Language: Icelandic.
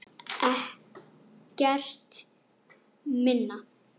Ekkert minna!